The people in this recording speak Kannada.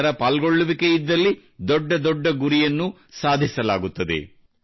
ಜನರ ಪಾಲ್ಗೊಳ್ಳುವಿಕೆಯಿದ್ದಲ್ಲಿ ದೊಡ್ಡ ದೊಡ್ಡ ಗುರಿಯನ್ನೂ ಸಾಧಿಸಲಾಗುತ್ತದೆ